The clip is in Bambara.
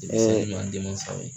Ee denmisɛnw n'an denmasaw ye.